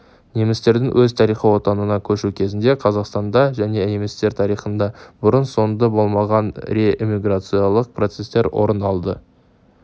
немістердің өз тарихи отанына көшу кезінде қазақстанда және немістер тарихында бұрын-соңды болмаған реэмиграциялық процестер орын алды